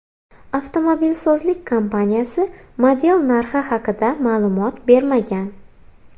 Avtomobilsozlik kompaniyasi model narxi haqida ma’lumot bermagan.